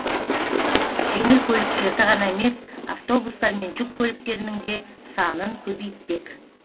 жеңіл көліктерді ғана емес автобустар мен жүк көліктерінің де санын көбейтпек